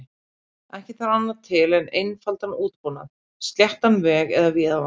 Ekki þarf annað til en einfaldan útbúnað, sléttan veg eða víðavang.